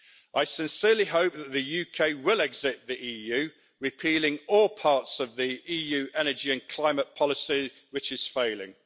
I sincerely hope that the UK will exit the EU repealing all parts of the EU energy and climate policy, which is failing.